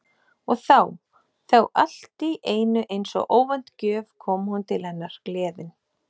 Og þá- þá allt í einu eins og óvænt gjöf kom hún til hennar gleðin.